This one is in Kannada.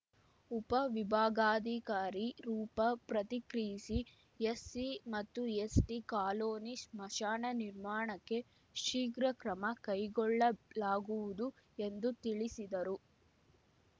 ಉಪವಿಭಾಗಾಧಿಕಾರಿ ರೂಪಾ ಪ್ರತಿಕ್ರಿಯಿಸಿ ಎಸ್‌ಸಿ ಮತ್ತು ಎಸ್‌ಟಿ ಕಾಲೋನಿ ಸ್ಮಶಾನ ನಿರ್ಮಾಣಕ್ಕೆ ಶೀಘ್ರ ಕ್ರಮ ಕೈಗೊಳ್ಳಲಾಗುವುದು ಎಂದು ತಿಳಿಸಿದರು